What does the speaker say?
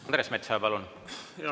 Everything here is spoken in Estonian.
Andres Metsoja, palun!